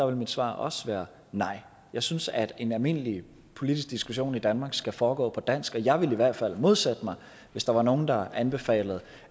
vil mit svar også være nej jeg synes at en almindelig politisk diskussion i danmark skal foregå på dansk og jeg ville i hvert fald modsætte mig hvis der var nogen der anbefalede